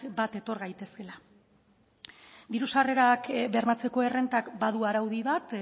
bat etor gaitezkeela diru sarrerak bermatzeko errentak badu araudi bat